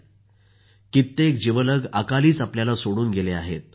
आपल्या सर्वांचे कित्येक जिवलग अकालीच आपल्याला सोडून गेले आहेत